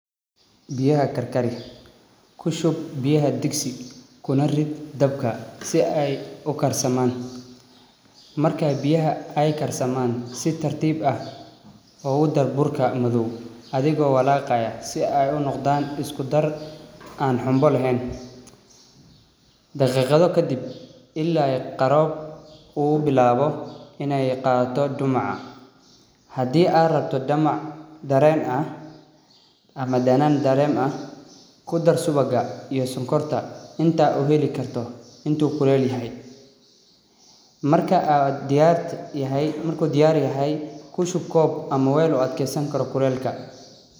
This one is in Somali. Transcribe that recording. Biyaha karkari kushub biyaha diksi kuna rid dabka si ay u karsaman. Marka biyaha ay karsaman si tartiib ah ogu dar burka madow adigo walaaqaya si ay unoqdan isku dar aan xumbo lahayn. Daqiiqado kadib ila iyo qaro u bilaawo inay qaado dumaca. Hadii aa rabto damac dareen ah ama danaan daren ah kudar subaga iyo sonkorta inta u heli karta intu kuleel yahay. Marku diyaar yahay kushub kob ama wel u adkaysan kara kuleelka.